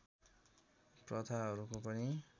प्रथाहरूको पनि